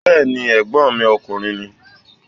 Bẹ́ẹ̀ni, ẹ̀gbọ́n mi ọkùnrin ni